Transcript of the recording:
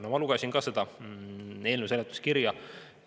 No ma lugesin ka selle eelnõu seletuskirja.